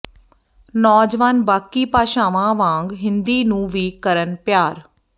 ਨੌਜਵਾਨ ਬਾਕੀ ਭਾਸ਼ਾਵਾਂ ਵਾਂਗ ਹਿੰਦੀ ਨੂੰ ਵੀ ਕਰਨ ਪਿਆਰ